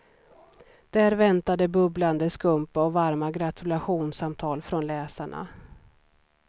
Där väntade bubblande skumpa och varma gratulationssamtal från läsarna.